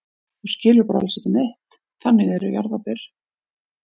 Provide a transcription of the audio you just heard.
Þú skilur bara alls ekki neitt, þannig eru jarðarber.